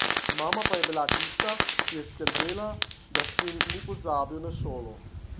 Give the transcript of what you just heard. Mama pa je bila tista, ki je skrbela, da sin ni pozabil na šolo.